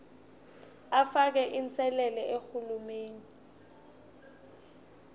afake inselele enkhulumeni